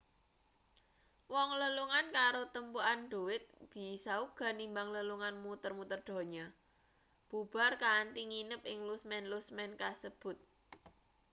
wong lelungan karo tumpukan dhuwit bisa uga nimbang lelungan muter-muter donya bubar kanthi nginep ing lusmen-lusmen kasebut